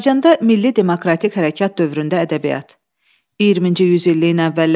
20-ci yüzilliyin əvvəlləri ölkəmizin tarixinə mürəkkəb və ziddiyyətli bir dövr kimi daxil olub.